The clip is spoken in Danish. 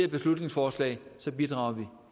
beslutningsforslag bidrager